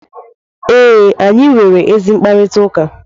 ee, anyị nwere ezi mkparịta ụka